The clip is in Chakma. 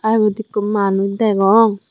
tey ibot ekku manuj degong.